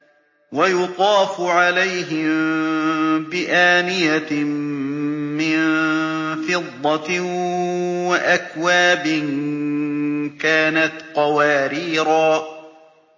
وَيُطَافُ عَلَيْهِم بِآنِيَةٍ مِّن فِضَّةٍ وَأَكْوَابٍ كَانَتْ قَوَارِيرَا